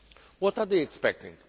What are they expecting?